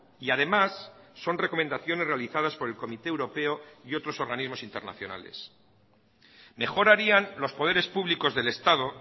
y además son recomendaciones realizadas por el comité europeo y otros organismos internacionales mejor harían los poderes públicos del estado